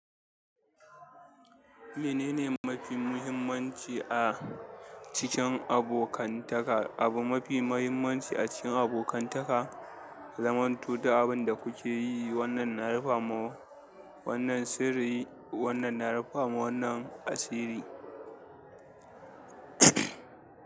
Menene mafi muhimmanci a cikin abokantaka? Abu mafi muhimmanci a cikin abokantaka ya zamantun duk abin da kuke yi, wannan na rufe ma wannan sirri, wannan na rufe ma wannan asiri.